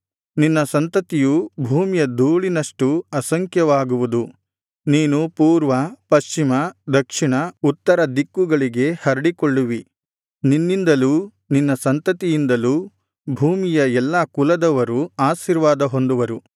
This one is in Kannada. ನಿನ್ನ ಸಂತತಿಯು ಭೂಮಿಯ ಧೂಳಿನಷ್ಟು ಅಸಂಖ್ಯವಾಗುವುದು ನೀನು ಪೂರ್ವ ಪಶ್ಚಿಮ ದಕ್ಷಿಣ ಉತ್ತರ ದಿಕ್ಕುಗಳಿಗೆ ಹರಡಿಕೊಳ್ಳುವಿ ನಿನ್ನಿಂದಲೂ ನಿನ್ನ ಸಂತತಿಯಿಂದಲೂ ಭೂಮಿಯ ಎಲ್ಲಾ ಕುಲದವರು ಆಶೀರ್ವಾದ ಹೊಂದುವರು